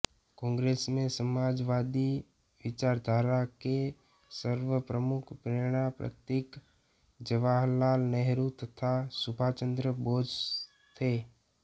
कांग्रेस में समाजवादी विचारधारा के सर्वप्रमुख प्रेरणा प्रतीक जवाहरलाल नेहरू तथा सुभाषचंद्र बोस थे